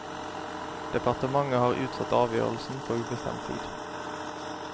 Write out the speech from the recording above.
Departementet har utsatt avgjørelsen på ubestemt tid.